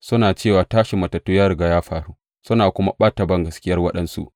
Suna cewa tashin matattu ya riga ya faru, suna kuma ɓata bangaskiyar waɗansu.